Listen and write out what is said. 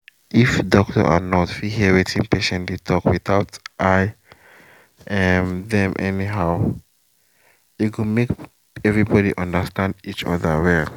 if doctor and nurse fit hear wetin patient dey talk without eye um dem anyhow e go make everybody understand each other well